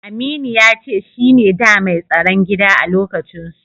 Aminu ya ce shine da mai tsaron gida a lokacinsu.